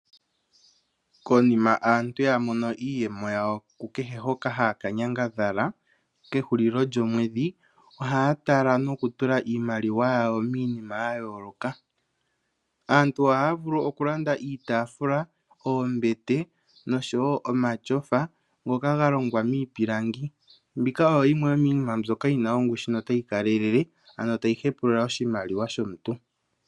Konima aantu ya mono iiyemo yawo hoka haya ka nyangadhala kehulilo lyomwedhi, ohaya tala nokutula iimaliwa yawo miinima ya yooloka. Aantu ohaya vulu okulanda iitaafula, oombete noshowo omatyofa ngoka ga longwa miipilangi. Mbika oyo yimwe yo miinima yi na ongushu notayi kalelele, ano tayi hempulula oshimaliwa shomuntu.